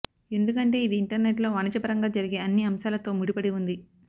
ఎందుకంటే ఇది ఇంటర్నెట్లో వాణిజ్యపరంగా జరిగే అన్ని అంశాలతో ముడిపడి ఉంది